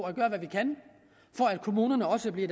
at gøre hvad vi kan for at kommunerne også bliver